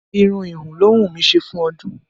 Irun híhun ló wù mí ṣe fún ọdún